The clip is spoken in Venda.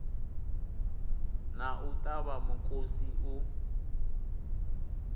na u ṱavha mukosi u